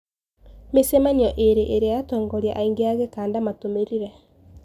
Micemanio iri iria atongoria aingi a gikanda matumirire.